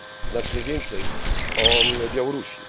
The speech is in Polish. znacznie więcej o Białorusi.